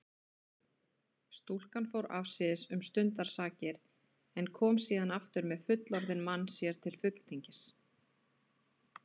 Stúlkan fór afsíðis um stundarsakir en kom síðan aftur með fullorðinn mann sér til fulltingis.